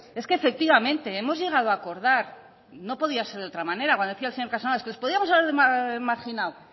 es que efectivamente hemos llegado a acordar y no podía ser de otra manera cuando decía el señor casanova es que os podíamos haber marginado